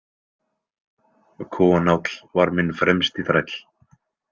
Konáll var minn fremsti þræll.